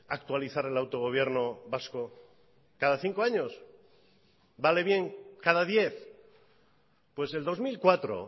actualizar el autogobierno vasco cada cinco años vale bien cada diez pues el dos mil cuatro